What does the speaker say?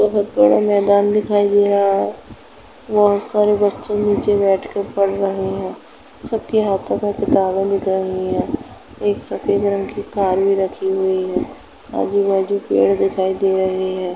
बहुत बड़ा मैदान दिखाई दे रहा है। बहुत सारे बच्चे नीचे बैठ कर पढ़ रहे हैं सबके हाथों में किताबें दिख रही हैं। एक सफेद रंग की कार भी रखी हुई है। आजू-बाजू पेड़ दिखाई दे रहे हैं।